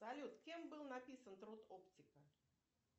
салют кем был написан труд оптика